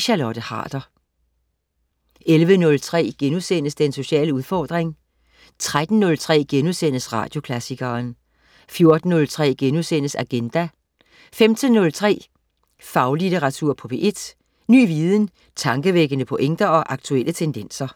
Charlotte Harder 11.03 Den sociale udfordring* 13.03 Radioklassikeren* 14.03 Agenda* 15.03 Faglitteratur på P1. Ny viden, tankevækkende pointer og aktuelle tendenser